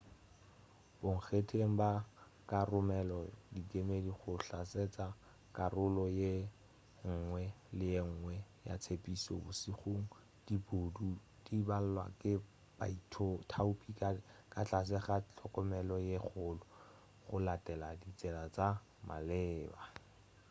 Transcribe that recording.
bonkgetheng ba ka romela dikemedi go hlatsela karolo yenngwe le yenngwe ya tshepedišo bošegong diboutu di balwa ke baithaopi ka tlase ga tlhokomelo ye kgolo go latelwa ditsela tša maleba